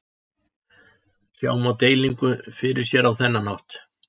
Sjá má deilingu fyrir sér á þennan hátt.